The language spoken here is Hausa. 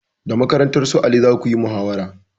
Da makarantar su ali zakuyi muhawara